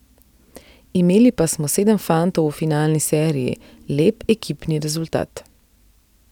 Imeli pa smo sedem fantov v finalni seriji, lep ekipni rezultat.